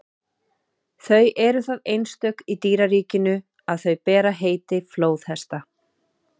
þau eru það einstök í dýraríkinu að þau bera heiti flóðhesta